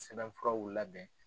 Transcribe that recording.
Sɛbɛnfuraw labɛn.